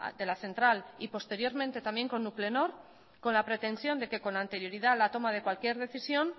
de la central y posteriormente también con nuclenor con la pretensión que con anterioridad a la toma de cualquier decisión